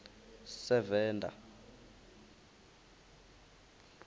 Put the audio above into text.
sevenda